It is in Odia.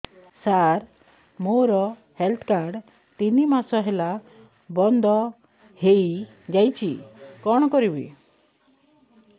ସାର ମୋର ହେଲ୍ଥ କାର୍ଡ ତିନି ମାସ ହେଲା ବନ୍ଦ ହେଇଯାଇଛି କଣ କରିବି